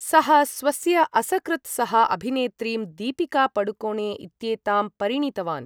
सः स्वस्य असकृत् सह अभिनेत्रीं, दीपिका पादुकोणे इत्येतां परिणीतवान्।